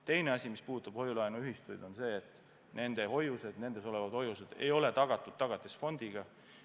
Teine asi, mis puudutab hoiu-laenuühistuid, on see, et nendes olevad hoiused ei ole tagatud Tagatisfondiga.